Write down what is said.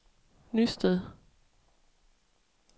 Nysted